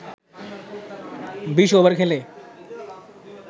২০ over খেলে